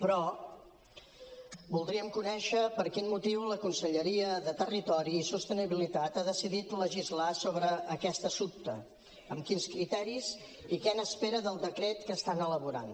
però voldríem conèixer per quin motiu la conselleria de territori i sostenibilitat ha decidit legislar sobre aquest assumpte amb quins criteris i què n’espera del decret que estan elaborant